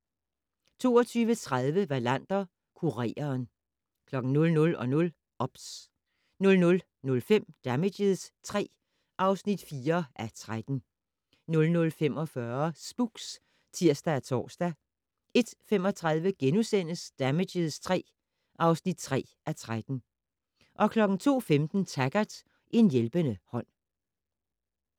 22:30: Wallander: Kureren 00:00: OBS 00:05: Damages III (4:13) 00:45: Spooks (tir og tor) 01:35: Damages III (3:13)* 02:15: Taggart: En hjælpende hånd